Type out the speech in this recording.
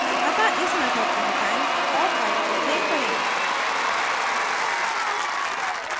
अतः इस method को हटाएँ और file को so करें